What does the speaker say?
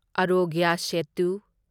Aarogya Setu